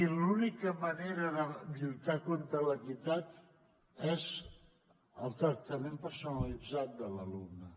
i l’única manera de lluitar contra la inequitat és el tractament personalitzat de l’alumne